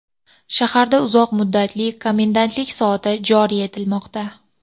shaharda uzoq muddatli komendantlik soati joriy etilmoqda.